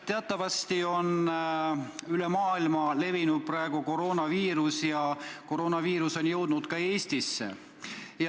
Teatavasti on üle maailma levinud praegu koroonaviirus ja koroonaviirus on jõudnud ka Eestisse.